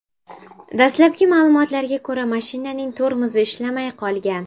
Dastlabki ma’lumotlarga ko‘ra, mashinaning tormozi ishlamay qolgan.